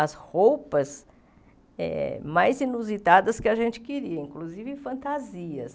as roupas mais inusitadas que a gente queria, inclusive fantasias.